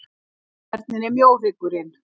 Hvernig er mjóhryggurinn?